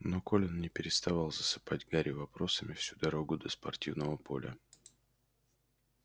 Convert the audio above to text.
но колин не переставал засыпать гарри вопросами всю дорогу до спортивного поля